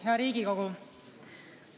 Hea Riigikogu!